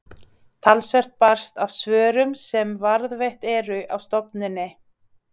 Talsvert barst af svörum sem varðveitt eru á stofnuninni.